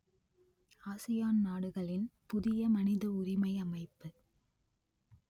ASEAN நாடுகளின் புதிய மனித உரிமை அமைப்பு